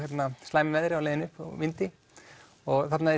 slæmu veðri á leiðinni upp og vindi og þarna